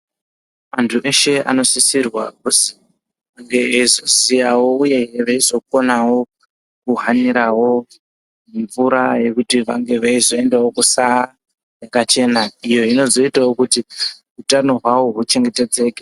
Antu eshe anosisirwa kuzi ange eyizo ziyawo uye veizo konawo ku hanirawo mvura yekuti vange veizo endawo kusa kwaka chena iyo inozoitawo kuti utano hwawo hu chengetedzeke.